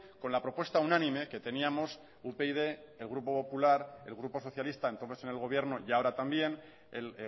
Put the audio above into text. con la propuesta unánime que teníamos upyd el grupo popular el grupo socialista entonces en el gobierno y ahora también el